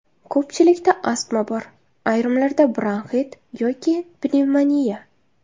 Ko‘pchilikda astma bor, ayrimlarda bronxit yoki pnevmoniya.